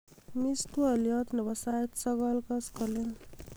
imis twolyot nebo sait sogol koskolen